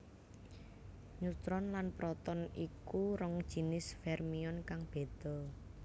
Neutron lan proton iku rong jinis fermion kang béda